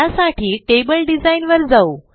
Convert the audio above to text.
त्यासाठी table design वर जाऊ